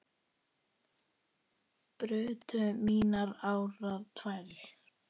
brutu mínar árar tvær